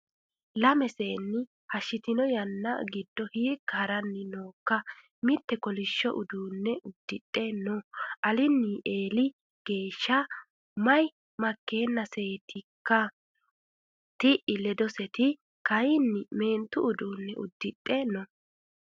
Lamu seenni hashshitino yanna giddo hiikka harani nookka ,mite kolishsho uduune uddidhe no alini eelli geeshshana mayi makenasetikka, ti'i ledoseti kayinni meentu uduune uddidhe no.